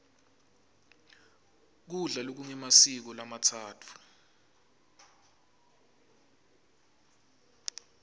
kudla lokungemasiko lamatsatfu